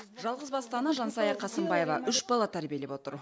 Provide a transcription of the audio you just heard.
жалғызбасты ана жансая қасымбаева үш бала тәрбиелеп отыр